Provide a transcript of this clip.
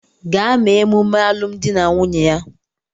Gaa mee emume alụmdi na nwunye ya!